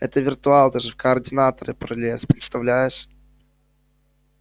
это виртуал даже в координаторы пролез представляешь